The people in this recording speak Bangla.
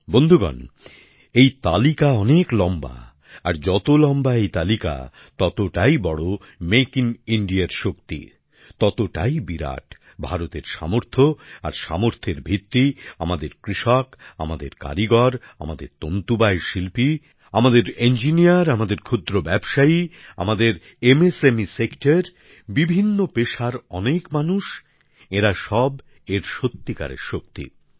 বন্ধুগণ এই তালিকা অনেক লম্বা আর যত লম্বা এই তালিকা ততটাই বড়ো মেক ইন ইণ্ডিয়ার শক্তি ততটাই বিরাট ভারতের সামর্থ্য আর সামর্থ্যের ভিত্তি আমাদের কৃষক আমাদের কারিগর আমাদের তন্তুবায় শিল্পী আমাদের ইঞ্জিনীয়ার আমাদের ক্ষুদ্র ব্যবসায়ী আমাদের অতি ক্ষুদ্র ক্ষুদ্র ও মাঝারী শিল্পোদ্যোগ বিভিন্ন পেশার অনেক মানুষ এঁরা সব এর সত্যিকারের শক্তি